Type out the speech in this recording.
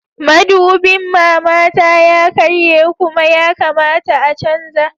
Madubin mamata ya karye Kuma ya kamata a canza